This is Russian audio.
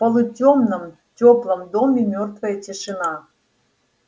в полутёмном тёплом доме мёртвая тишина